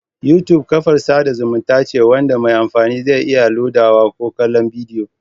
YouTube kafar sada zumunta ce wanda mai amfani zai iya lodawa ko kallon bidiyo